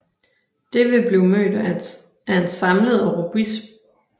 Det vil blive mødt af en samlet og robust reaktion i solidaritet med Ukraine